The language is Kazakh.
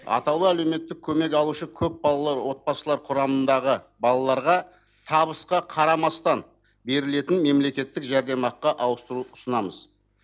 атаулы әлеуметтік көмек алушы көпбалалы отбасылар құрамындағы балаларға табысқа қарамастан берілетін мемлекеттік жәрдемақыға ауыстыруды ұсынамыз